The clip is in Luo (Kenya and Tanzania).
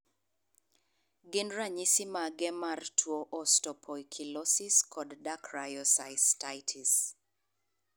Gin ranyisi mage mar tuo Osteopoikilosis and dacryocystitis?